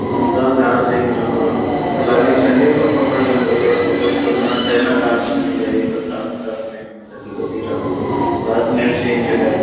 जंगल-झार छै किनकरो है तअ लागै छै र जंगलो र फोटो छेकै हुन्ने छै न गाछ सीनी ढेरी पतरा-पतरा सिनी कथी-कथी रो वहा सिनी र सीन छेकै |